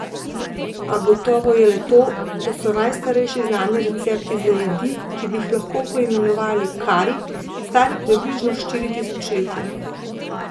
A gotovo je le to, da so najstarejši znani recepti za jedi, ki bi jih lahko poimenovali kari, stari približno štiri tisočletja.